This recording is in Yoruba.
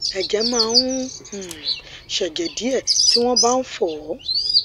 ẹjẹ má ń um ṣẹjẹ díẹ tí wọn bá fọ ọ